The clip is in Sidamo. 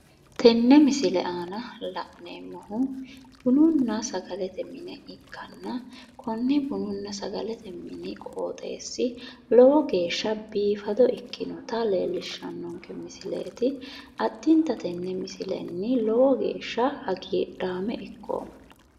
Tenne misile aana la'neemmohu bununna sagalete mine ikkanna konne bununna sagalete mini qooxeessi lowo geeshsha biifado ikkinota leellishshannonke misileeti. Addinta tenne misilenni lowo geeshsha hagiidhaame ikkoomma.